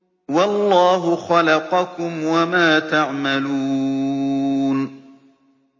وَاللَّهُ خَلَقَكُمْ وَمَا تَعْمَلُونَ